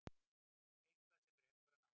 Eitthvað sem rekur hann áfram.